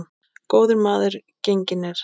Góður maður genginn er.